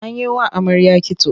An yi wa amarya kitso.